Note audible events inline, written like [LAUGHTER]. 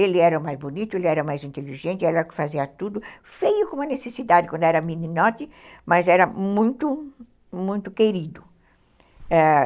Ele era mais bonito, ele era mais inteligente, ele fazia tudo feio como uma necessidade quando era meninote, [LAUGHS] mas era muito, muito querido, ãh